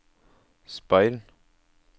speil